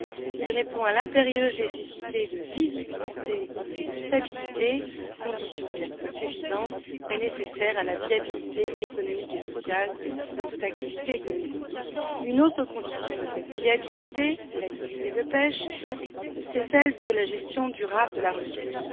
Il répond à l'impérieuse nécessité de visibilité et de stabilité, condition certes insuffisante mais nécessaire à la viabilité économique et sociale de toute activité économique. Une autre condition de cette viabilité de l'activité de pêche est la gestion durable de la ressource.